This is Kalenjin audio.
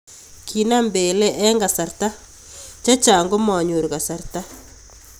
Kinam Pele eng kasarta chechang komanyor kasarta .